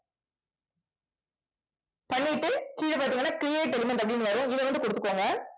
பண்ணிட்டு கீழே பாத்தீங்கன்னா create element அப்படினு வரும் இதை வந்து குடுத்துக்கோங்க